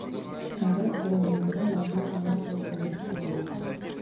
әрі бірімен бірі мазмұн жағынан тығыз байланысты болады